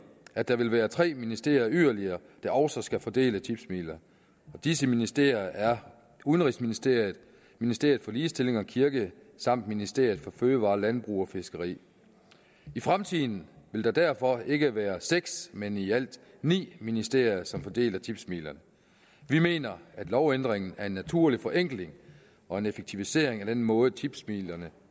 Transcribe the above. at der vil være tre ministerier yderligere der også skal fordele tipsmidler og disse ministerier er udenrigsministeriet ministeret for ligestilling og kirke samt ministeriet for fødevarer landbrug og fiskeri i fremtiden vil der derfor ikke være seks men i alt ni ministerier som fordeler tipsmidlerne vi mener at lovændringen er en naturlig forenkling og en effektivisering af den måde tipsmidlerne